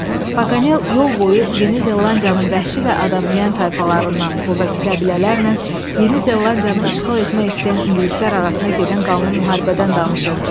Paganel yol boyu Yeni Zelandiyanın vəhşi və adam yeyən tayfalarından, burdakı qəbilələrlə Yeni Zelandiyanı işğal etmək istəyən ingilislər arasında gedən qanlı müharibədən danışırdı.